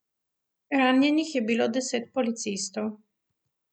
Ranjenih je bilo deset policistov.